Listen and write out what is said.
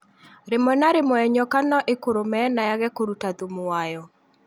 Rĩmwe na rĩmwe nyoka no ĩkũrũme na yage kũruta thumu wayo